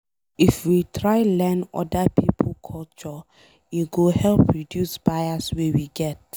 If we try learn oda pipo culture, e go help reduce bias wey we get.